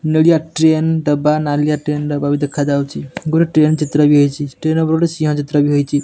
ନେଳିଆ ଟ୍ରେନ୍ ଡବା ନାଲିଆ ଟ୍ରେନ୍ ଡବା ଭି ଦେଖାଯାଉଚି ଗୋଟେ ଟ୍ରେନ୍ ଚିତ୍ର ବି ହେଇଚି ଟ୍ରେନ୍ ଉପରେ ଗୋଟେ ସିଂହ ଚିତ୍ର ବି ହେଇଚି।